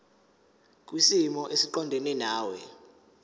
kwisimo esiqondena nawe